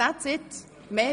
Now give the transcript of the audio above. Das wäre es schon.